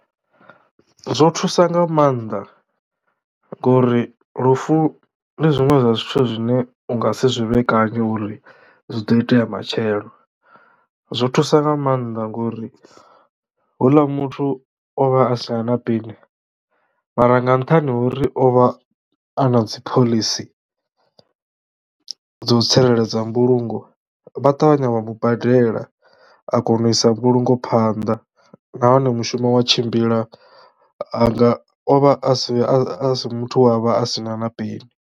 Zwo thusa nga mannḓa ngori lufu ndi zwiṅwe zwa zwithu zwine u nga si zwi vhekanye uri zwi do itea matshelo, zwo thusa nga mannḓa ngori houḽa muthu o vha a sina na peni mara nga nṱhani ho uri o vha a na dziphoḽisi dzo tsireledza mbulungo vha ṱavhanya vha mubadela a kona u isa mbulungo phanḓa na hone mushumo wa tshimbila hanga o vha a si a si muthu we a vha a sina na peni.